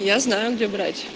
я знаю где брать